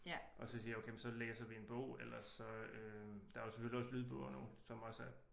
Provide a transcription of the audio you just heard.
Og så siger okay men så læser vi en bog ellers så øh der er selvfølgelig også lydbøger nu som også er